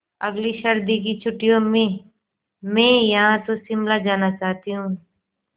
अगली सर्दी की छुट्टियों में मैं या तो शिमला जाना चाहती हूँ